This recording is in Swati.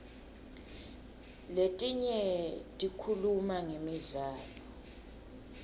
letinye tikhuluma ngemidlalo